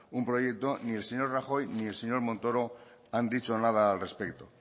un proyecto ni el señor rajoy ni el señor montoro han dicho nada al respecto